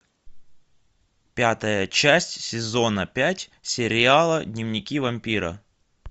пятая часть сезона пять сериала дневники вампира